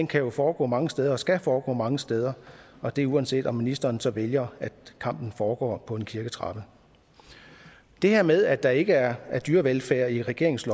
kan jo foregå mange steder og skal foregå mange steder og det er uanset at ministeren så vælger at kampen foregår på en kirketrappe det her med at der ikke er dyrevelfærd i regeringens